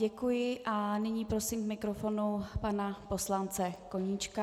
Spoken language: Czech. Děkuji a nyní prosím k mikrofonu pana poslance Koníčka.